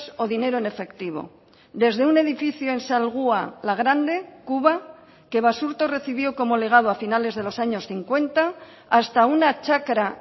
o dinero en efectivo desde un edificio en salgua la grande cuba que basurto recibió como legado a finales de los años cincuenta hasta una chacra